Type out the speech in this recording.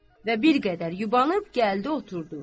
Və bir qədər yubanıb gəldi oturdu.